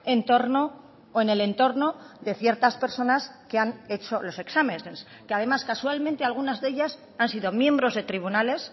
en torno o en el entorno de ciertas personas que han hecho los exámenes que además casualmente algunas de ellas han sido miembros de tribunales